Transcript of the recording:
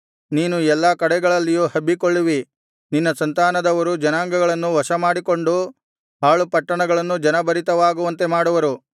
ನೀನು ಎಲ್ಲಾ ಕಡೆಗಳಲ್ಲಿಯೂ ಹಬ್ಬಿಕೊಳ್ಳುವಿ ನಿನ್ನ ಸಂತಾನದವರು ಜನಾಂಗಗಳನ್ನು ವಶಮಾಡಿಕೊಂಡು ಹಾಳು ಪಟ್ಟಣಗಳನ್ನು ಜನಭರಿತವಾಗುವಂತೆ ಮಾಡುವರು